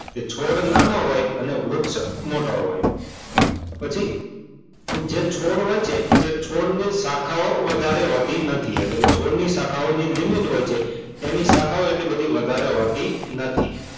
છોડનાનો હોય અને વૃક્ષ મોટો હોય પછી જે છોડ હોય, છે છોડની શાખાઓ વધારે હોતી નથી એટલે છોડની શાખાઓની લિમિટ હોય છે. તેની શાખાઓ એટલી બધી વધારે હોતી નથી.